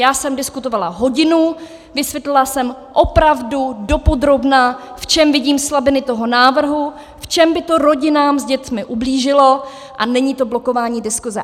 Já jsem diskutovala hodinu, vysvětlila jsem opravdu dopodrobna, v čem vidím slabiny toho návrhu, v čem by to rodinám s dětmi ublížilo, a není to blokování diskuse.